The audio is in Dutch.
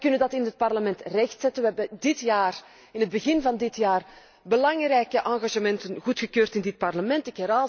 Wij kunnen dat in het Parlement rechtzetten, wij hebben in het begin van dit jaar belangrijke engagementen goedgekeurd in dit Parlement.